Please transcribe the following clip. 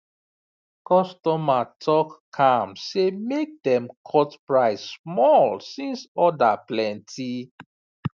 customer talk calm say make dem cut price small since order plenty